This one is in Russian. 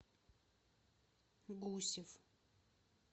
гусев